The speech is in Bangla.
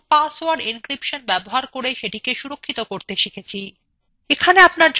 পাসওয়ার্ড encryption ব্যবহার করে ফাইল সুরক্ষিত করা